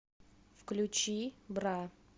включи бра